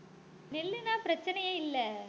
நெல்லுன்னா பிரச்சனையே இல்லை